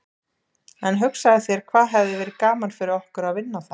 En hugsaðu þér hvað hefði verið gaman fyrir okkur að vinna þær.